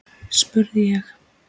spurði ég.